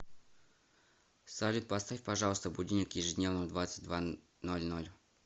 салют поставь пожалуйста будильник ежедневно в двадцать два ноль ноль